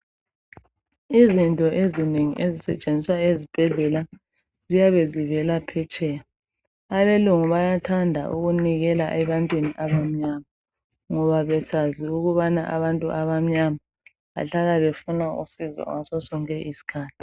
Izinto ezinengi ezisetshenziswa esibhedlela ziyabe zivela phetsheya. Abalungu bayathanda ukunikela ebantwini abamnyama ngoba besazi ukuba abantu abamnyama bahlala befuna usizo ngaso sonke isikhathi.